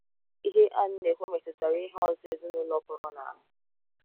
Ihe Ann na - ekwu metụtara ihe ọzọ ezinụlọ pụrụ n'ahụ